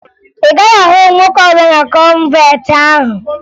Ị gaghị ahụ nwoke ọbụla na kọnventi ahụ